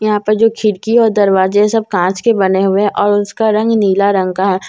यहां पे जो खिड़की और दरवाजे सब कांच के बने हुए और उसका रंग नीला रंग का है।